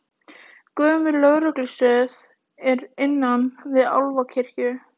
Gömul lögreglustöð er innan við Álfakirkju